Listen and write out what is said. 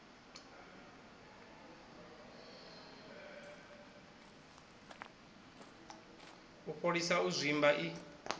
u fholisa u zwimba i